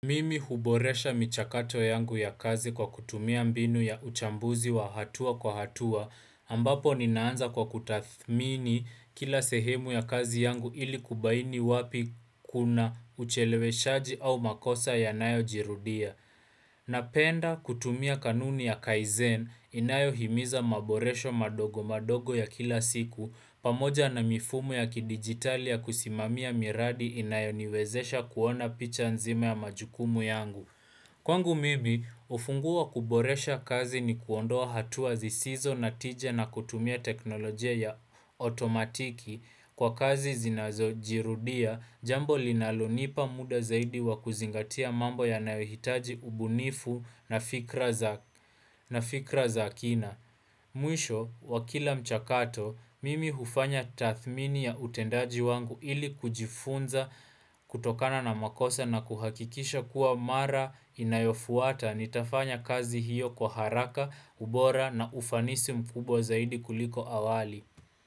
Mimi huboresha michakato yangu ya kazi kwa kutumia mbinu ya uchambuzi wa hatua kwa hatua ambapo ninaanza kwa kutathmini kila sehemu ya kazi yangu ili kubaini wapi kuna ucheleweshaji au makosa ya nayo jirudia Napenda kutumia kanuni ya kaizen inayo himiza maboresho madogo madogo ya kila siku pamoja na mifumo ya kidigitali ya kusimamia miradi inayoniwezesha kuona picha nzima ya majukumu yangu. Kwangu mimi, hufungua kuboresha kazi ni kuondoa hatua zisizo na tije na kutumia teknolojia ya otomatiki kwa kazi zinazo jirudia, jambo linalonipa muda zaidi wa kuzingatia mambo ya nayohitaji ubunifu na fikra za kina. Mwisho, wa kila mchakato, mimi hufanya tathmini ya utendaji wangu ili kujifunza kutokana na makosa na kuhakikisha kuwa mara inayofuata ni tafanya kazi hiyo kwa haraka, ubora na ufanisi mkubwa zaidi kuliko awali.